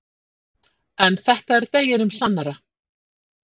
En þetta er deginum sannara.